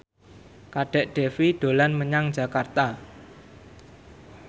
Kadek Devi dolan menyang Jakarta